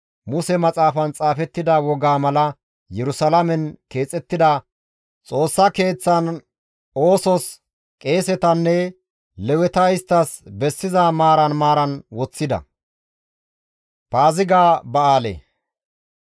Muse maxaafan xaafettida wogaa mala Yerusalaamen keexettida Xoossa Keeththaan oosos qeesetanne Leweta isttas bessiza maaran maaran woththida.